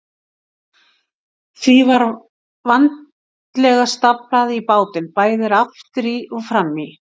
Því var vandlega staflað á bátinn, bæði aftur í og fram í.